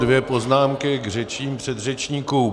Dvě poznámky k řečem předřečníků.